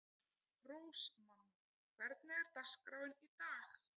Rósmann, hvernig er dagskráin í dag?